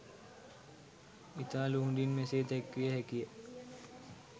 ඉතා ලුහුඬින් මෙසේ දැක්විය හැකි ය